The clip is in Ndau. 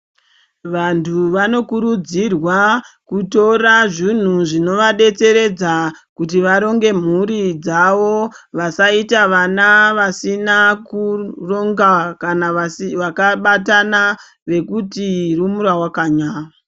Vantu vanokurudzirwa kutora zvinhu zvinovadetseredza kuti varonge mhuri dzavo vasaita vana vasina kurongwa kana vakabatana nekuti rumura wakanya.